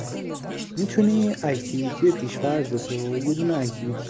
ничего не ответишь